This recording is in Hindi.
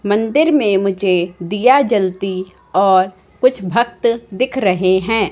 मंदिर में मुझे दिया जलती और कुछ भक्त दिख रहे हैं।